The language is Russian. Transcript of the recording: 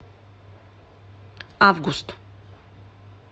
август